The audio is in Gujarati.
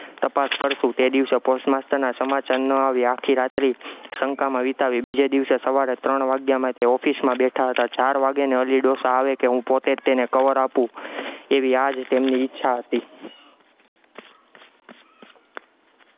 તપાસ કરશું, તે દિવસે post master ના સમાચાર ન આવ્યા, આખી રાત્રી શંકામાં વિતાવી, બીજે દિવસે સવારમાં ત્રણ વાગ્યામાં તે office માં બેઠા હતા, ચાર વાગે ને અલી ડોસા આવે કે હું પોતે જ તેને cover આપું, એવી આજ તેમની ઈચ્છા હતી.